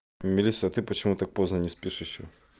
мелисса ты почему так поздно не спишь ещё